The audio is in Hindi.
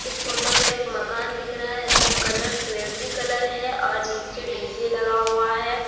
इस फोटो में एक मकान दिख रहा है इसका कलर स्लेटी कलर है और नीचे डी_जे लगा हुआ है।